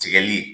Tigɛli